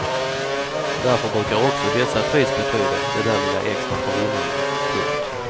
Därför brukar också dessa pris betyda det där lilla extra för vinnarna. punkt